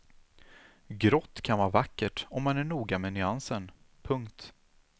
Grått kan vara vackert om man är noga med nyansen. punkt